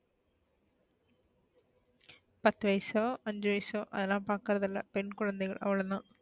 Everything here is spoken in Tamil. பத்து வயசோ ஐஞ்சு வயசோ அதெல்லாம் பாக்றது இல்ல பெண் குழந்தைகள் அவ்ளோ தான்,